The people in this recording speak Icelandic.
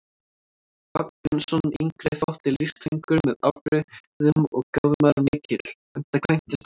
Vagn Björnsson yngri þótti listfengur með afbrigðum og gáfumaður mikill, enda kvæntist hann aldrei.